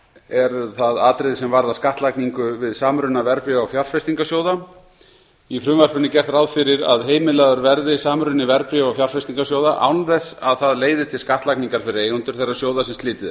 eru það atriði sem varða skattlagningu við samruna verðbréfa og fjárfestingarsjóða í frumvarpinu er gert ráð fyrir því að heimilaður verði samruni verðbréfa og fjárfestingarsjóða án þess að það leiði til skattlagningar fyrir eigendur þeirra sjóða sem slitið